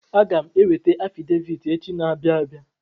Aga m eweta afidevit echi na-abịa abia.